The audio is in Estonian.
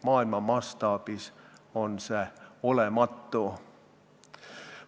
Maailma mastaabis on see olematu.